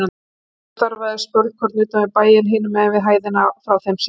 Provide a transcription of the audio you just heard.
Hópur starfaði spölkorn utan við bæinn, hinum megin við hæðina frá þeim séð.